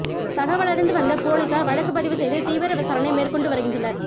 தகவலறிந்து வந்த போலீஸார் வழக்குப் பதிவு செய்து தீவிர விசாரணை மேற்கொண்டு வருகின்றனர்